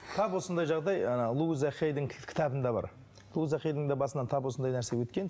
тап осындай жағдай ыыы луйза хейдің кітабында бар луйза хейдің де басынан тап осындай нәрсе өткен